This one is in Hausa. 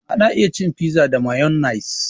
An iya cin fiza da mayonnaise